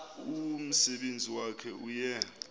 umsebenzi wakhe uye